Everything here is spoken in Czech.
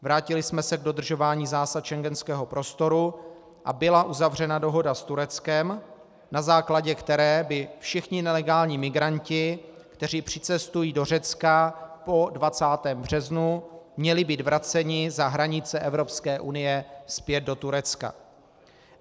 Vrátili jsme se k dodržování zásad schengenského prostoru a byla uzavřena dohoda s Tureckem, na základě které by všichni nelegální migranti, kteří přicestují do Řecka po 20. březnu, měli být vraceni za hranice Evropské unie zpět do Turecka.